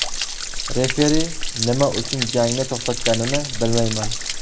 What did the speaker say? Referi nima uchun jangni to‘xtatganini bilmayman.